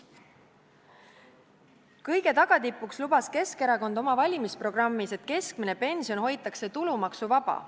Kõige tipuks lubas Keskerakond oma valimisprogrammis, et keskmine pension hoitakse tulumaksuvaba.